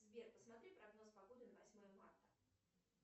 сбер посмотри прогноз погоды на восьмое марта